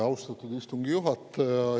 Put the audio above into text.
Austatud istungi juhataja!